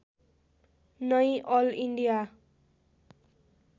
नै all India